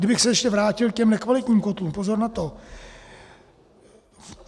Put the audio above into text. Kdybych se ještě vrátil k těm nekvalitním kotlům - pozor na to!